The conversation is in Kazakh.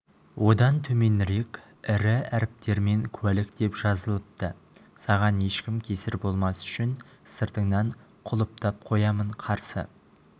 одан төменірек ірі әріптермен куәлік деп жазылыпты саған ешкім кесір болмас үшін сыртыңнан құлыптап қоямын қарсы